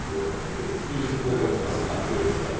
Bu artıq böyük saydır, hə, böyük saydır.